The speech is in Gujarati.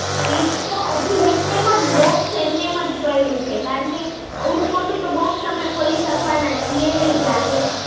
fridge તો હજી box એમનેમ જ પયડું છે કેમ કે એવડું મોટું box તો અમે ખોલી શકવાના છીએ નઈ જાત